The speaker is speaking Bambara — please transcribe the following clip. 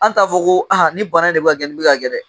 An t'a fɔ ko ni bana in de bɛ ka kɛ, nin bɛ ka kɛ dɛ.